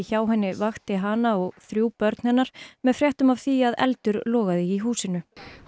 hjá henni vakti hana og þrjú börn hennar með fréttum af því að eldur logaði í húsinu